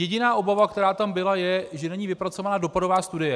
Jediná obava, která tam byla, je, že není vypracována dopadová studie.